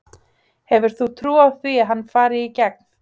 Hefur þú trú á því að hann fari í gegn?